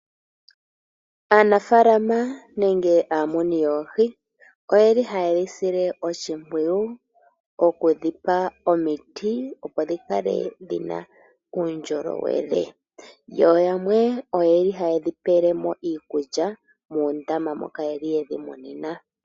Aanafala nenge aamuni yoohi oyeli haye dhi sile oshimpwiyu okudhipa omiti opo dhi kale dhina uundjolowele, yo yamwe oyeli haye dhipele mo iikulya muundama moka yali yedhi munina.